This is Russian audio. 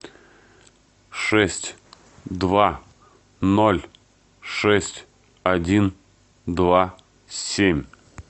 шесть два ноль шесть один два семь